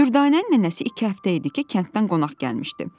Dürdanənin nənəsi iki həftə idi ki, kənddən qonaq gəlmişdi.